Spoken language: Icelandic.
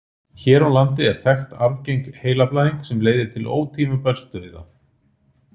hér á landi er þekkt arfgeng heilablæðing sem leiðir til ótímabærs dauða